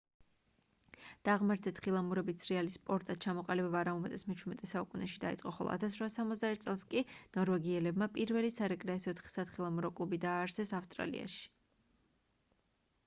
დაღმართზე თხილამურებით სრიალის სპორტად ჩამოყალიბება არაუმეტეს მე-17 საუკუნეში დაიწყო ხოლო 1861 წელს კი ნორვეგიელებმა პირველი სარეკრეაციო სათხილამურო კლუბი დაარსეს ავსტრალიაში